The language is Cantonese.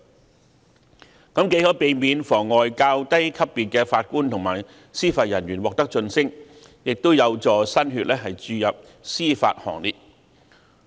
這樣既可避免妨礙較低級別的法官及司法人員獲得晉升，亦有助新血注入司法行列。